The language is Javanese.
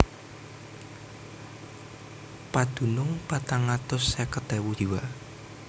Padunung patang atus seket ewu jiwa